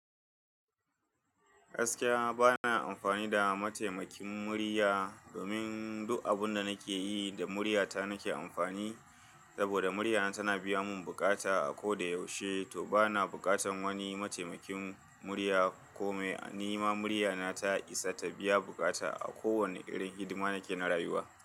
Gaskiya bana amfani da mataimakin murya domin duk abun da nake yi da murya ta nake amfani. Saboda murya na tana biya mun bukata a ko da yaushe, to bana bukatan wani mataimakin murya kome. Ni ma murya na ta isa ta biya bukata a kowane irin hidima nake na rayuwa.